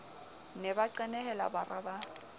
ne ba qenehela bara ba